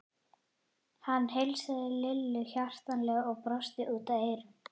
Hann heilsaði Lillu hjartanlega og brosti út að eyrum.